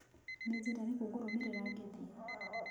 Nĩ njĩra ĩrĩkũ ngũrũmĩrĩra ngĩthiĩ?